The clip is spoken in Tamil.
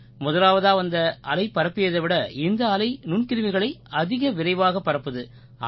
முதலாவதா வந்த அலை பரப்பியதை விட இந்த அலை நுண்கிருமிகளை அதிக விரைவாக பரப்புது